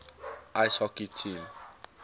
ice hockey team